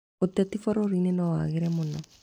Ũteti bũrũrinĩ nowagĩre mũno